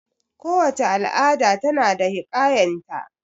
Kowace al'ada ta na da hiƙayan ta